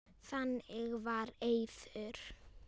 Þannig var Eiður.